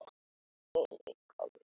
Nú skal horft á verkin.